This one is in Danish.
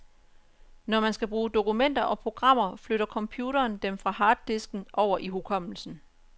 Når man skal bruge dokumenter og programmer, flytter computeren dem fra harddisken over i hukommelsen.